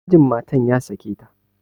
Mijin matan ya sake ta.